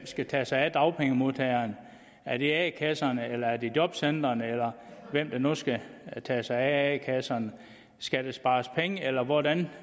skal tage sig af dagpengemodtagerne er det a kasserne eller er det jobcentrene eller hvem der nu skal tage sig af a kasserne skal der spares penge eller hvordan